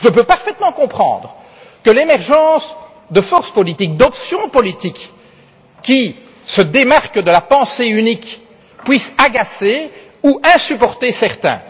Je peux parfaitement comprendre que l'émergence de forces politiques et d'options politiques qui se démarquent de la pensée unique puissent agacer ou insupporter certains.